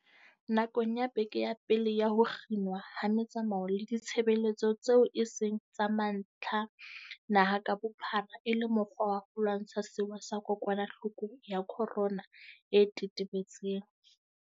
Nakong ya beke ya pele ya ho kginwa ha metsamao le ditshebeletso tseo e seng tsa mantlha naha ka bophara e le mokgwa wa ho lwantsha sewa sa kokwanahloko ya corona e tetebetseng.